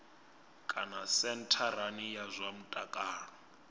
kana sentharani ya zwa mutakalo